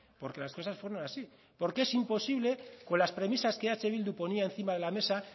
porque las cosas fueron así porque es imposible con las premisas que eh bildu ponía encima de la mesa